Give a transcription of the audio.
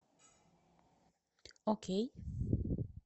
окей